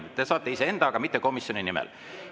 Te saate kõneleda iseenda, aga mitte komisjoni nimel.